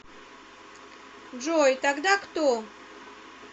джой тогда кто